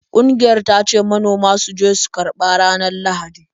Ƙungiyar ta ce manoma su je su karba ranar Lahadi.